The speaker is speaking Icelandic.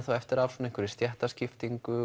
eftir af einhverri stéttaskiptingu